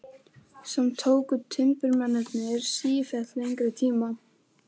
Samt tóku timburmennirnir sífellt lengri tíma.